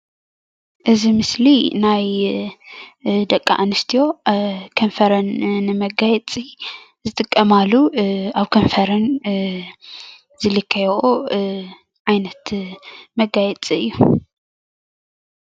እዚ ምስሊ ናይ ደቂ ኣንስትዮ ከንፈረን ንመጋየፂ ዝጥቀማሉ ኣብ ከንፈረን ዝልከይኦ ዓይነት መጋየፂ እዩ።